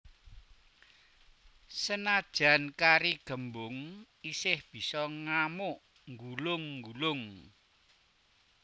Senadyan kari gembung isih bisa ngamuk nggulung nggulung